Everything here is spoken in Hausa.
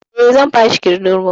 Eh, zan bashi kindirmo